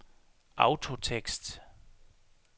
autotekst